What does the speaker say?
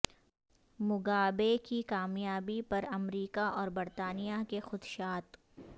Mugabe کی کامیابی پر امریکہ اور برطانیہ کے خدشات